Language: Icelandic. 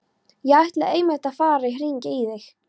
Ég ætlaði einmitt að fara að hringja í þig.